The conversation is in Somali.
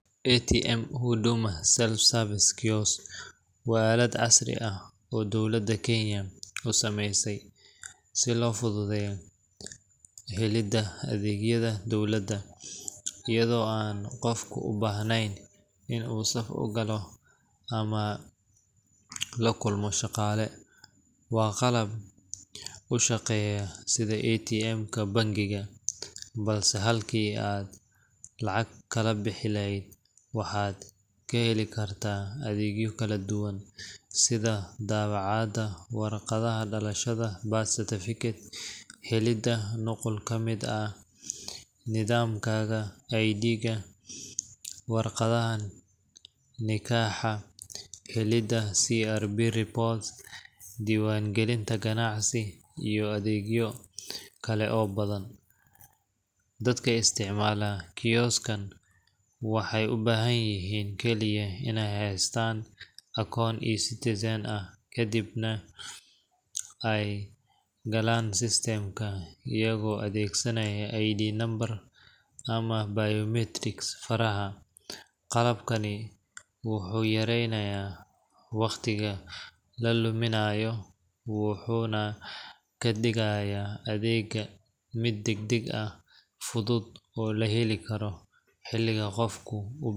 Atmka huduma self service kiosk waa alad casri ah dowlada Kenya usameeysay si loo fududeyo helida adeegyada dowlada ayado an qofka ubahneyn inu saf ugaalo ama lajulmo shaqaale, waa qalab ushaqeeya sida Atmka bengiga balse halki ad lacag kala bixi leheyd waxad kaheeli kartaa adeegyo kala duban sida daawacada warqadaha dhalashada birthday certificate, helida nuqul kamid ah nidamkada ID-ga warqadaha ninkaaxa, helida crb report duwan gelinta ganacsi, iyo adeegyo kale oo badan. dadka isticmaala kioskan waxay u bahan yihiin kekiya inay haystan akon e-cutizen ah, kadibna ay galan systemka ayago adeedsanayo I'd nambar ama biometrics faraha. qalabkani wuxuu yareynaya waqtiga la luminayo wuxuuna kadhigaya adeegga mid degdeg ah fudud oo laheli karo xiliga uu qofki u ubahan yahay.